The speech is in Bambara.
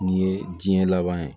Nin ye diɲɛ laban ye